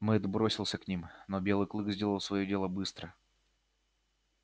мэтт бросился к ним но белый клык сделал своё дело быстро